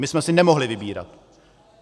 My jsme si nemohli vybírat.